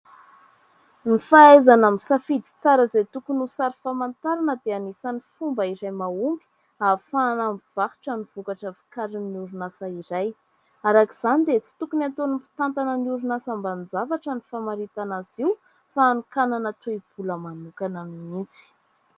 Ny fahaizana misafidy tsara izay tokony ho sary famantarana dia anisan'ny fomba iray mahomby, ahafahana mivarotra ny vokatra vokarin'ny orinasa iray. Arak'izany dia tsy tokony ataon'ny mpitantana ny orinasa ambanin-javatra ny famaritana azy io, fa anokanana toe-bola manokana mihitsy.